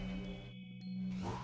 í